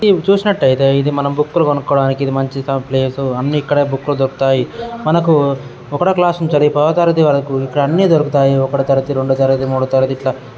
ఇది మనం చూసినట్లయితే ఇది మనం బుక్కులు కొనుక్కునేందుకు మంచి ప్లేస్ . అన్ని ఇక్కడ బుక్కులు దొరుకుతాయి. మనకు ఒకటవ క్లాస్ నుండి పదవ తరగతి వరకు ఇక్కడ అన్ని దొరుకుతాయి. ఒకటవ తరగతి రెండవ తరగతి మూడవ తరగతి ఇటుల --